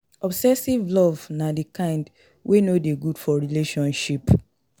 Obsessive Love na di kind wey no de good for relationship